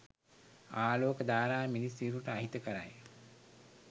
ආලෝක ධාරා මිනිස් සිරුරට අහිතකරයි.